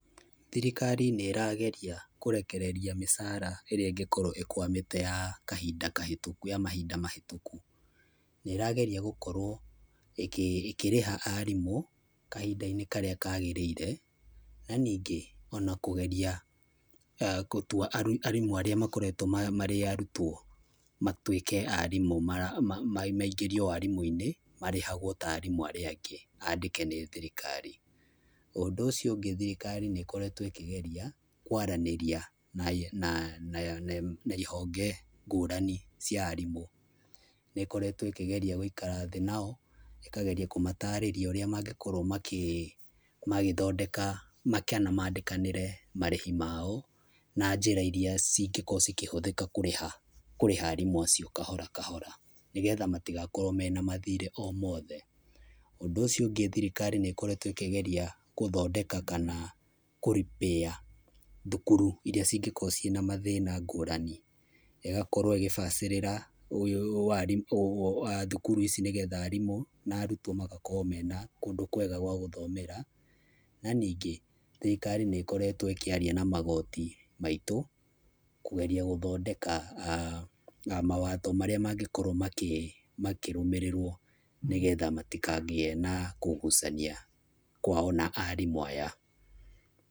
Thirikari nĩ ĩrageria kũrekereria mĩcara ĩrĩa ĩngĩkorwo ĩkwamĩte ya kahinda kahĩtũku ya mahinda mahĩtũku. Na ĩrageria gũkorwo ĩkĩrĩha arimũ kahinda-inĩ karĩa kagĩrĩire, na ningĩ ona kũgeria gũtua arimũ arĩa makoretwo marĩ arutwo matuĩke arimũ maingĩriao warimũ-inĩ marĩhagwo ta arimũ arĩa angĩ, andĩke nĩ thirikari. Ũndũ ũcio ũngĩ thirĩkari nĩĩkorettwo ĩkĩgeria kwaranĩria na na na na ihonge ngũrani cia arimũ. Nĩĩkoretwo ĩkĩgeria gũikara thĩ nao, ĩkageria kũmatarĩria ũrĩa mangĩkorwo magĩthondeka, kana mandĩkanĩre marĩhi mao na njĩra iria cingĩkorwo cikĩhũthĩka kũrĩha, kũrĩha arimũ acio kahora kahora, nĩgetha matigakorwo mena mathirĩ o mothe. Ũndũ ũcio ũngĩ thirikari nĩĩkoretwo ĩkĩgeria gũthondeka kana kũ repair thukuru irĩa cingĩkorwo ciĩna mathĩna ngũrani. Ĩgakorwo ĩgĩbacĩrĩra thukuru ici, nĩgetha arimũ na arutwo magakorwo mena kũndũ kwega gwa gũthomera. Na ningĩ thirikari nĩĩkoretwo ĩkĩaria na magoti maitũ, kũgeria gũthondeka mawatho marĩa mangĩkorwo makĩrũmĩrĩrwo nĩgetha matikagĩe na kũgucania kwao na arimũ aya.